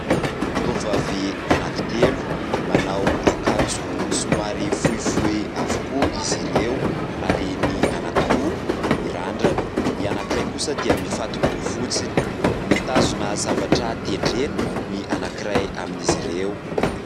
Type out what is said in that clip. Tovovavy anankitelo manao akanjo somary fohifohy avokoa izy ireo ary ny anankiroa mirandrana, ny anankiray kosa dia mifato-bolo fotsiny. Mitazona zavatra tendrena ny anankiray amin'izy ireo.